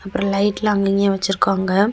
அப்பறம் லைட்லாம் அங்கிங்கயும் வச்சிருக்காங்க.